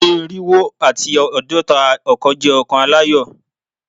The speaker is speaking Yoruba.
Ọdun irinwo ati aadọta ọkan jẹ ọkan alayọ